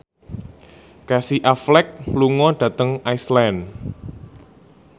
Casey Affleck lunga dhateng Iceland